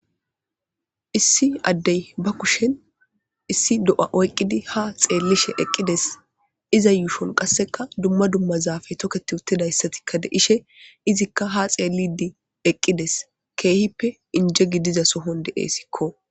Issi adde ba kushshen issi doo'a oyqqidi ha xellishe eqqides izza yuushshon qaseka dumma dumma zapoe toketi uttidaysaka de'shshe izika ha xeelide eqqides kehhipe injje giddidason deesiko